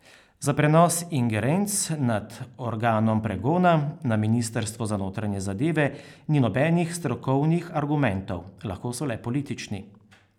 Za prenos ingerenc nad organom pregona na ministrstvo za notranje zadeve ni nobenih strokovnih argumentov, lahko so le politični.